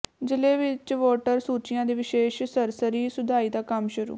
ਜ਼ਿਲ੍ਹੇ ਵਿਚ ਵੋਟਰ ਸੂਚੀਆਂ ਦੀ ਵਿਸ਼ੇਸ਼ ਸਰਸਰੀ ਸੁਧਾਈ ਦਾ ਕੰਮ ਸ਼ੁਰੂ